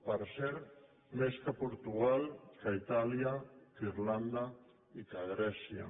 per cert més que portugal que itàlia que irlanda i que grècia